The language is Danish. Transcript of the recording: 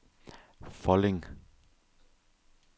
Folding